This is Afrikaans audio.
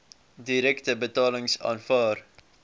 direkte betalings aanvaar